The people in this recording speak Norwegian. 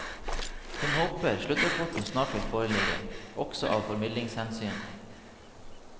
Hun håper sluttrapporten snart vil foreligge, også av formidlingshensyn.